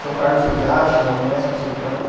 São Carlos eu sei que acha, Unesp eu sei que acha.